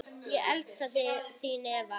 Ég elska þig, þín Eva.